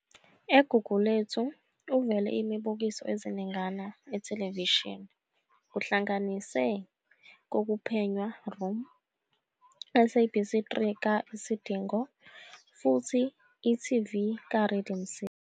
EGugulethu uvele imibukiso eziningana ithelevishini, kuhlanganise "kokuphenywa Room," SABC3 ka- "Isidingo",futhi e.tv ka- Rhythm City.